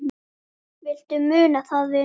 Viltu muna það, vinur?